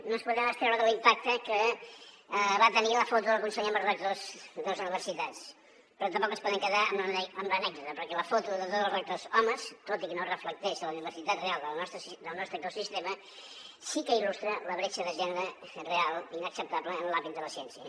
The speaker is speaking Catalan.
no ens podem extreure de l’impacte que va tenir la foto del conseller amb els rectors de les universitats però tampoc ens podem quedar amb l’anècdota perquè la foto de tots els rectors homes tot i que no reflecteix la diversitat real del nostre ecosistema sí que il·lustra la bretxa de gènere real i inacceptable en l’àmbit de la ciència